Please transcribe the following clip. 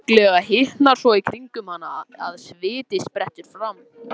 Snögglega hitnar svo í kringum hana að sviti sprettur fram.